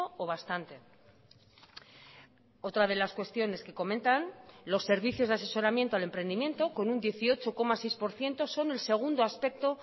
o bastante otra de las cuestiones que comentan los servicios de asesoramiento al emprendimiento con un dieciocho coma seis por ciento son el segundo aspecto